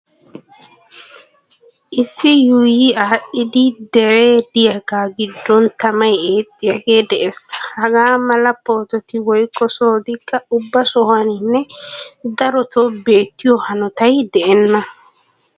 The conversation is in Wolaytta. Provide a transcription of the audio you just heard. Issi yuuyi aadhdhidi deree diyagaa giddon tamay eexxiyagee de'ees. Hagaa mala poototi woykko sohotikka ubba sohuwaninne darotoo beettiyo hanotay de'enna.